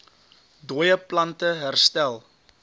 dooie plante herstel